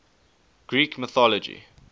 greek mythology